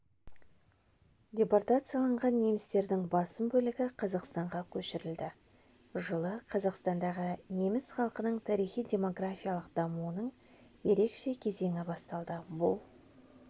депортацияланған немістердің басым бөлігі қазақстанға көшірілді жылы қазақстандағы неміс халқының тарихи-демографиялық дамуының ерекше кезеңі басталды бұл